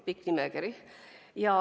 Pikk nimekiri oli.